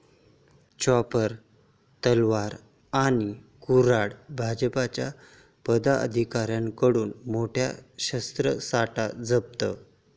chopper, तलवारी आणि कुऱ्हाडी...भाजपच्या पदाधिकाऱ्याकडून मोठा शस्त्रसाठा जप्त